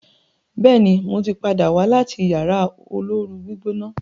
béèni mọ tí pàdà wá láti Yàrá olóoru-gbígbóná.